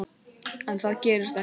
En það gerist ekkert.